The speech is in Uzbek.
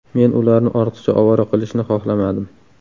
Men ularni ortiqcha ovora qilishni xohlamadim.